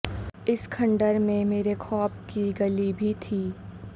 اسی کھنڈر میں مرے خواب کی گلی بھی تھی